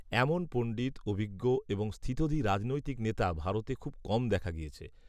এমন পণ্ডিত অভিজ্ঞ এবংস্থিতধী রাজনৈতিক নেতা ভারতে খুব কম দেখা গিয়েছে